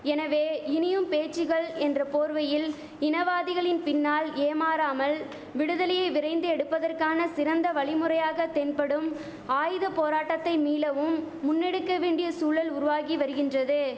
எனவே இனியும் பேச்சிகள் என்ற போர்வையில் இனவாதிகளின் பின்னால் ஏமாறாமல் விடுதலையை விரைந்து எடுப்பதற்கான சிறந்த வழிமுறையாக தென்படும் ஆயுத போராட்டத்தை மீளவும் முன்னேடுக்க வேண்டிய சூழல் உருவாகி வரிகின்றது